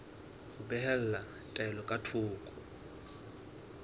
ho behela taelo ka thoko